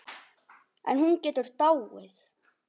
En hún getur dáið